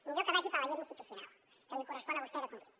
millor que vagi per la llera institucional que li correspon a vostè de conduir